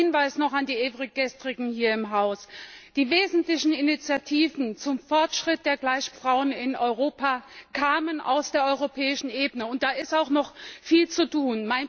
Mein Hinweis noch an die Ewiggestrigen hier im Hause Die wesentlichen Initiativen zum Fortschritt der Gleichberechtigung der Frauen in Europa kamen aus der europäischen Ebene. Da ist auch noch viel zu tun.